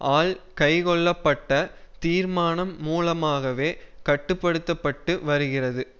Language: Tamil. ஆல் கைக்கொள்ளப்பட்ட தீர்மானம் மூலமாகவே கட்டு படுத்தப்பட்டு வருகிறது